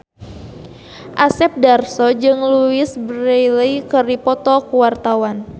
Asep Darso jeung Louise Brealey keur dipoto ku wartawan